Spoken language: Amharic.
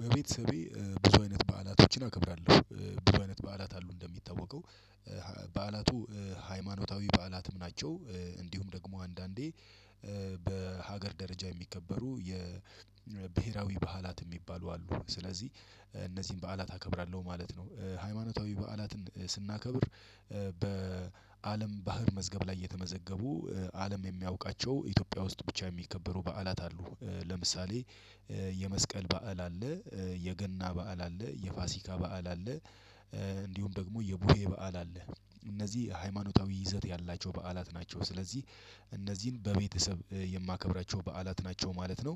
በቤተሰቤ ብዙ አይነት በዓላቶችን አከብራለሁ። ብዙ አይነት በዓላት አሉ እንደሚታወቀው ሀ በቤተሰቤ ብዙ አይነት በዓላቶችን አከብራለሁ ብዙ አይነት በዓላት አሉ እንደሚታወቀው ሀ በሀገር ደረጃ የሚከበሩ የብሄራዊ በዓላት የሚባሉ አሉ ስለዚህ እነዚህን በዓላት አከብራለሁ ማለት ነው። ሃይማኖታዊ በዓላትን ስሥናከብር በአለም ባህር መዝገብ ላይ የተመዘገቡ አለም የሚያውቃቸው ኢትዮጵያ ውስጥ ብቻ የሚከበሩ በዓላት አሉ። ለምሳሌ በዓላቱ ሃይማኖታዊ በዓላትም ናቸው። እንዲሁም ደግሞ አንዳንዴ በሀገር ደረጃ የሚከበሩ የብሄራዊ በዓላት የሚባሉ አሉ። ስለዚህ እነዚህን በዓላት አከብራለሁ ማለት ነው። ሃይማኖታዊ በዓላትን ስናከብር በአለም ባህር መዝገብ ላይ የተመዘገቡ አለም የሚያውቃቸው ኢትዮጵያ ውስጥ ብቻ የሚከበሩ በዓላት አሉ። ለምሳሌ የመስቀል በዓል አለ የገና በዓል አለ የፋሲካ በዓል አለ። እንዲሁም ደግሞ የቡሄ በዓል አለ። እነዚህ ሃይማኖታዊ ይዘት ያላቸው በዓላት ናቸው። ስለዚህ እነዚህን በቤተሰብ የማከብራቸው በዓላት ናቸው ማለት ነው።